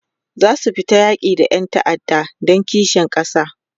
zasu fita yaki da Ƴan ta'adda Dan kishin kasa